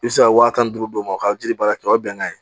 I bɛ se ka wa tan ni duuru d'o ma o ka jiri baara kɛ o ye bɛnkan ye